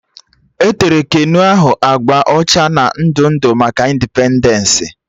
E tere keno ahụ agba ọcha na ndụ ndụ maka indipendensị